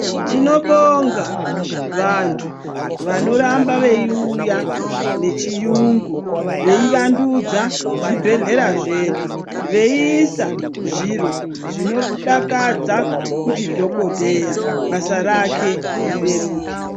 Tinobonga vantu vanoramba veiuya nechiyungu veiwandudza zvibhadhlera zvedu veiisa zviro zvinodakadza kuti dhokodheya basa rake rireruke.